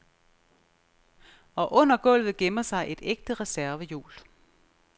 Og under gulvet gemmer sig et ægte reservehjul.